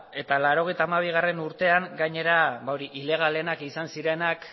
eta laurogeita hamabigarrena urtean gainera ilegalenak izan zirenak